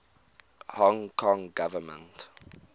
hong kong government